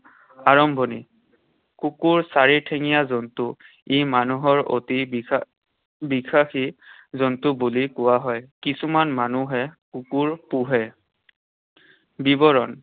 আৰম্ভণি। কুকুৰ চাৰিঠেঙীয়া জন্তু। ই মানুহৰ অতি বিশ্বাসী জন্তু বুলি কোৱা হয়। কিছুমান মানুহে কুকুৰ পোহে। বিৱৰণ।